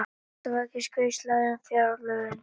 Atkvæðagreiðsla um fjárlögin